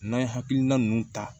N'an ye hakilina nunnu ta